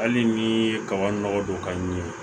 Hali ni ye kaba nɔgɔ don ka ɲɛ